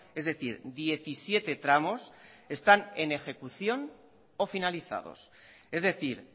es decir diecisiete tramos están en ejecución o finalizados es decir